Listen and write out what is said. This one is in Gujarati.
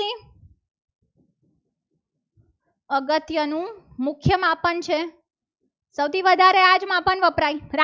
અત્યારનું મુખ્ય માપન છે. સૌથી વધારે આ જ માપન વપરાય.